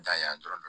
N dan ye dɔrɔn